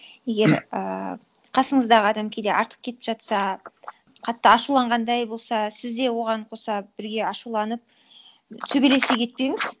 егер ііі қасыңыздағы адам кейде артық кетіп жатса қатты ашуланғандай болса сіз де оған қоса бірге ашуланып төбелесе кетпеңіз